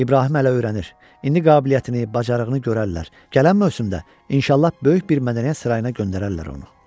İbrahim hələ öyrənir, indi qabiliyyətini, bacarığını görərlər, gələn mövsümdə inşallah böyük bir mədəniyyət sarayına göndərərlər onu.